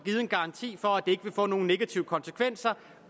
en garanti for at det ikke vil få nogen negative konsekvenser